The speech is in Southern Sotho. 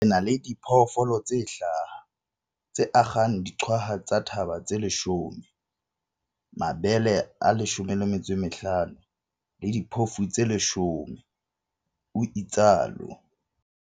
"Re na le diphoofolo tse hlaha, tse akgang diqwaha tsa thaba tse 10, mabele a 15 le diphofu tse 10," o itsalo